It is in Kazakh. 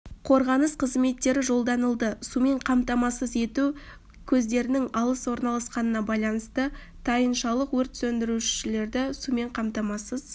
қорғаныс қызметтері жолданылды сумен қамтамасыз ету көздерінің алыс орналасқанына байланысты тайыншалық өрт сөндірушілерді сумен қамтамасыз